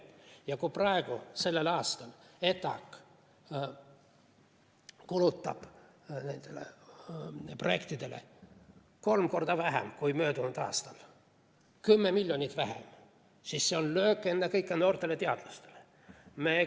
Ja kui sellel aastal ETAg kulutab nendele projektidele kolm korda vähem kui möödunud aastal, 10 miljonit vähem, siis on see löök ennekõike noortele teadlastele.